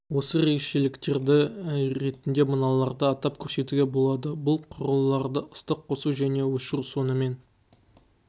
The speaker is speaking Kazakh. осы ерекшеліктері ретінде мыналарды атап көрсетуге болады бұл құрылғыларды ыстық қосу және өшіру сонымен